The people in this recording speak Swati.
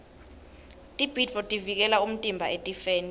tibhidvo tivikela umtimba etifeni